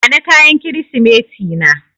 Bani kayan Kirsimeti na.